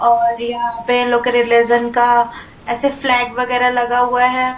और यहाँ पे इन लोगो के रिलेशन का ऐसे फ्लैग वगैरह लगा हुआ है।